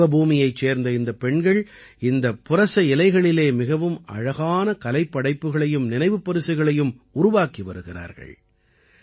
இன்று தேவபூமியைச் சேர்ந்த இந்தப் பெண்கள் இந்த புரச இலைகளிலே மிகவும் அழகான கலைப்படைப்புக்களையும் நினைவுப்பரிசுகளையும் உருவாக்கி வருகிறார்கள்